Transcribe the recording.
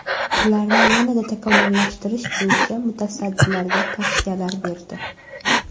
Ularni yanada takomillashtirish bo‘yicha mutasaddilarga tavsiyalar berdi.